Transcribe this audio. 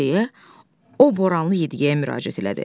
deyə o Boraanlı yediyeyə müraciət elədi.